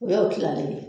O y'o kilalen ye